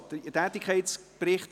Es geht um den Tätigkeitsbericht.